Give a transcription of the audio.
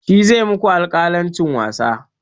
Shi zai maku alƙalancin wasa.